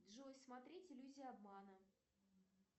джой смотреть иллюзия обмана